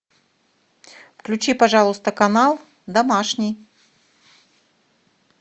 включи пожалуйста канал домашний